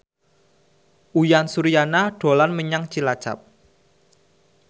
Uyan Suryana dolan menyang Cilacap